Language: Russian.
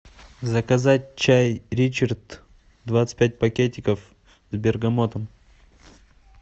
заказать чай ричард двадцать пять пакетиков с бергамотом